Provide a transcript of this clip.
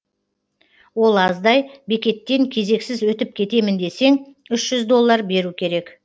ол аздай бекеттен кезексіз өтіп кетемін десең үш жүз доллар беру керек